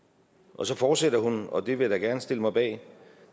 og så fortsætter hun og det vil jeg da gerne stille mig bag